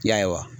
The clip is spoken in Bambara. Ya ye wa